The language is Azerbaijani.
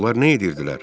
Onlar nə edirdilər?